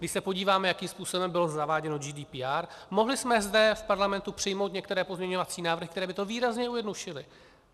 Když se podíváme, jakým způsobem bylo zaváděno GDPR, mohli jsme zde v Parlamentu přijmout některé pozměňovací návrhy, které by to výrazně zjednodušily.